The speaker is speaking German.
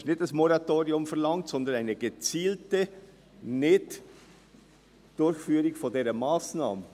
Es wird kein Moratorium verlangt, sondern eine gezielte Nicht-Durchführung dieser Massnahme.